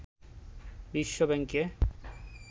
বিশ্ব ব্যাংকে